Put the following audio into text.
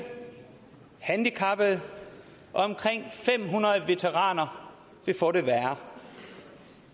handicappede og omkring fem hundrede veteraner vil få det værre